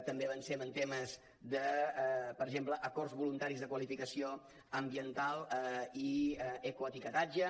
també avancem en temes per exemple d’acords voluntaris de qualificació ambiental i ecoetiquetatge